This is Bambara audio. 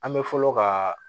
An bɛ fɔlɔ ka